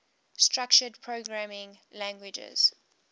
structured programming languages